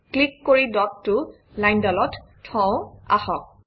click কৰি ডটটো লাইনডালত থওঁ আহক